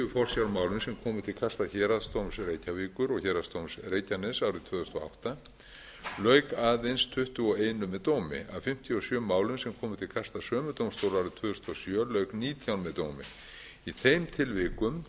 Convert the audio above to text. forsjármálum sem komu til kasta héraðsdóms reykjavíkur og héraðsdóms reykjaness árið tvö þúsund og átta lauk aðeins tuttugu og eitt með dómi af fimmtíu og sjö málum sem komu til kasta sömu dómstóla árið tvö þúsund og sjö lauk nítján með dómi í þeim tilvikum